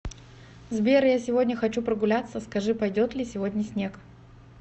сбер я сегодня хочу прогуляться скажи пойдет ли сегодня снег